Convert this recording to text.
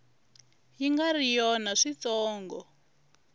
yi nga ri yona switsongo